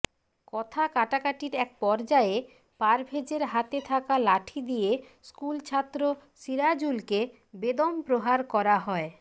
কথা কাটাকাটির এক পর্যায়ে পারভেজের হাতে থাকা লঠি দিয়ে স্কুলছাত্র সিরাজুলকে বেদম প্রহার করা হয়